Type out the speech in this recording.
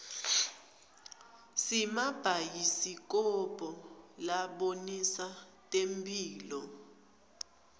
simabhayisikobho labonisa temphilo